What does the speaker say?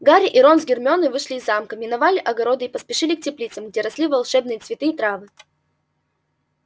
гарри и рон с гермионой вышли из замка миновали огороды и поспешили к теплицам где росли волшебные цветы и травы